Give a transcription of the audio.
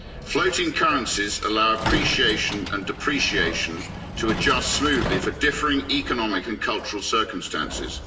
Floating currencies allow appreciation and depreciation to adjust smoothly for differing economic and cultural circumstances.